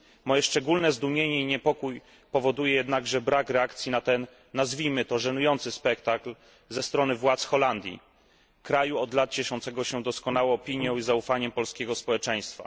Moje szczególne zdumienie i niepokój powoduje jednakże brak reakcji na ten nazwijmy to żenujący spektakl ze strony władz Holandii, kraju od lat cieszącego się doskonałą opinią i zaufaniem polskiego społeczeństwa.